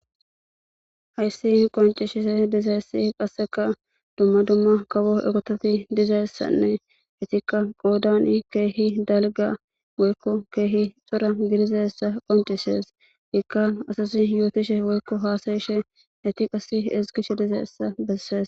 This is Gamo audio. Hase qassika betishe diza issi, qassika dumma dumma kabo diza issanne, izikka qoodane keehi dalga woyko keehi cora gidiza issa qonccishees. Ikka asasi yotizashe woyko haasayishe, eti qassi ezigshe dizassa bessees.